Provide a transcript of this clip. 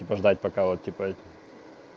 типа ждать пока вот типа эту